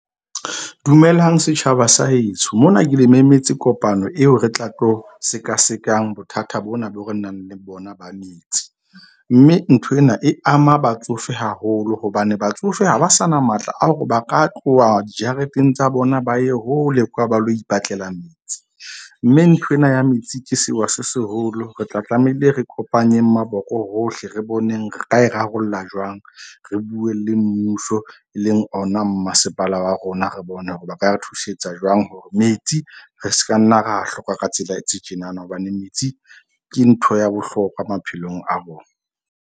Dumelang setjhaba sa heso mona ke le memetse kopano eo re tla tlo sekasekang bothata bona, boo re nang le bona ba metsi. Mme nthwena e ama batsofe haholo. Hobane batsofe ha ba sa na matla a hore ba ka tloha dijareteng tsa bona, ba ye hole kwa, ba lo ipatlela metsi. Mme ntho ena ya metsi ke sewa se seholo. Re tla tlameile, re kopanyeng maboko hohle re boneng re ka e rarollla jwang. Re buwe le mmuso, e leng ona, mmasepala wa rona, re bone hore ba ka re thusetsa jwang hore metsi re ska nna ra hloka ka tsela e tse tjenana. Hobane metsi ke ntho ya bohlokwa maphelong a bona.